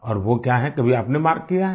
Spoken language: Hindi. और वो क्या है कभी आपने मार्क किया है